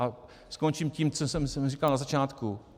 A skončím tím, co jsem říkal na začátku.